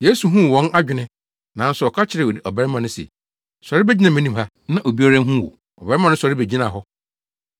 Yesu huu wɔn adwene nanso ɔka kyerɛɛ ɔbarima no se, “Sɔre begyina anim ha, na obiara nhu wo.” Ɔbarima no sɔre begyinaa hɔ.